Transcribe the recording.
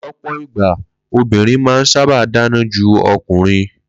Ló̩pò̩ ìgbà, obìnrin máa ń sábà dáná ju o̩kùnrin